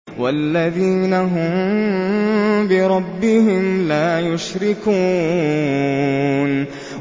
وَالَّذِينَ هُم بِرَبِّهِمْ لَا يُشْرِكُونَ